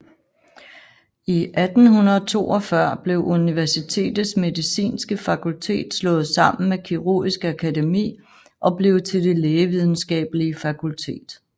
I 1842 blev universitetets medicinske fakultet slået sammen med Kirurgisk Akademi og blev til Det Lægevidenskabelige Fakultet